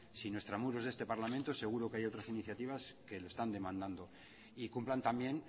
sino extramuros de este parlamento seguro que hay otras iniciativas que lo están demandando y cumplan también